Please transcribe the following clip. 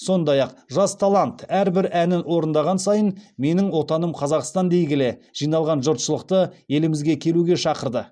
сондай ақ жас талант әрбір әнін орындаған сайын менің отаным қазақстан дей келе жиналған жұртшылықты елімізге келуге шақырды